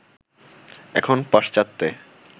এখন পাশ্চাত্যে